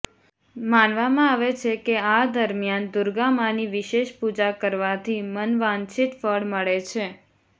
માનવામાં આવે છે કે આ દરમિયાન દૂર્ગા માની વિશેષ પૂજા કરવાથી મનવાંછિત ફળ મળે છે